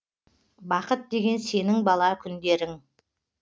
бақыт деген сенің бала күндерің